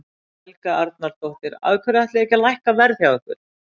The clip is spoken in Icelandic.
Helga Arnardóttir: Af hverju ætlið þið ekki að lækka verð hjá ykkur?